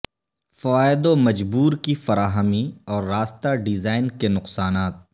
فوائد و مجبور کی فراہمی اور راستہ ڈیزائن کے نقصانات